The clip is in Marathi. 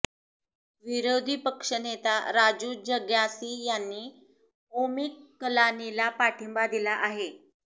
विरोधी पक्षनेता राजू जग्यासी यांनी ओमी कलानीला पाठींबा दिला आहे